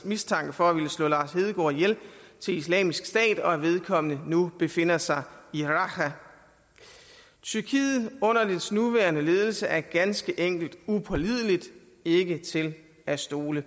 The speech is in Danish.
mistanke for at ville slå lars hedegaard ihjel til islamisk stat og at vedkommende nu befinder sig i raqqa tyrkiet under dets nuværende ledelse er ganske enkelt upålideligt og ikke til at stole